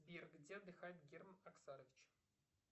сбер где отдыхает герман оскарович